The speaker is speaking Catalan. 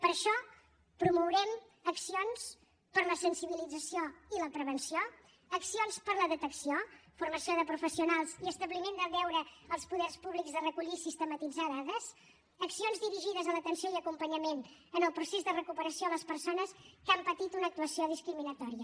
per això promourem accions per a la sensibilització i la prevenció accions per a la detecció formació de professionals i establiment del deure als poders públics de recollir i sistematitzar dades accions dirigides a l’atenció i acompanyament en el procés de recuperació a les persones que han patit una actuació discriminatòria